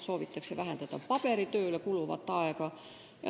Soovitakse vähendada paberitööle kuluvat aega.